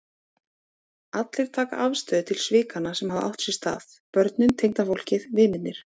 Allir taka afstöðu til svikanna sem hafa átt sér stað, börnin, tengdafólkið, vinirnir.